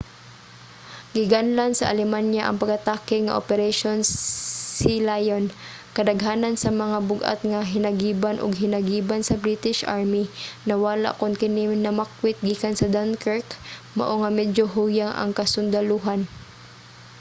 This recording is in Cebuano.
ginganlan sa alemanya ang pag-atake nga operation sealion". kadaghanan sa mga bug-at nga hinagiban ug hinagiban sa british army nawala kon kini namakwit gikan sa dunkirk mao nga medyo huyang ang kasundalohan